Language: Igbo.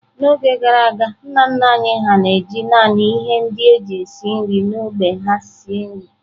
N’oge gara aga, nna nna anyị hà na-eji naanị ihe ndị e ji esi nri n’ógbè ha esi nri.